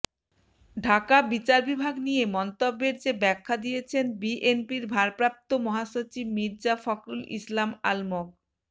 ঢাকাঃ বিচার বিভাগ নিয়ে মন্তব্যের যে ব্যাখ্যা দিয়েছেন বিএনপির ভারপ্রাপ্ত মহাসচিব মির্জা ফখরুল ইসলাম আলমগ